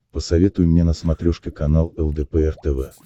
посоветуй мне на смотрешке канал лдпр тв